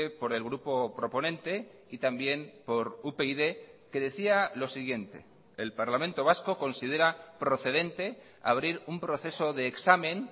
por el grupo proponente y también por upyd que decía lo siguiente el parlamento vasco considera procedente abrir un proceso de examen